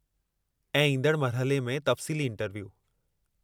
ऐं ईंदड़ मरहले में तफ़्सीली इंटरव्यू।